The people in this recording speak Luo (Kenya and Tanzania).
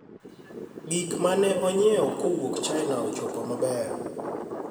gik ma ne anyiewo kowuok China ochopo maber